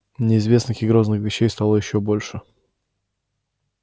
неизвестных и грозных вещей стало ещё больше